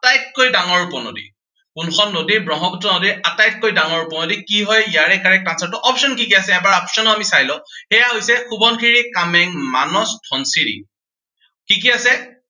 আটাইতকৈ ডাঙৰ উপনদী। কোনখন নদী ব্ৰহ্মপুত্ৰ নদীৰ আটাইতকৈ ডাঙৰ উপনদী। কি হয় ইয়াৰে correct answer টো। option কি কি আছে। এবাৰ option ও আমি চাই লও। সেয়া হৈছে, সোৱণশিৰি, কামেং, মানস, ধনশিৰি কি কি আছে।